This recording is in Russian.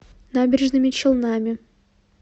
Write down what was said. набережными челнами